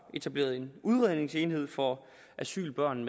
etableret en udredningsenhed for asylbørn